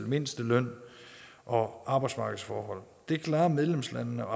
mindsteløn og arbejdsmarkedsforhold det klarer medlemslandene og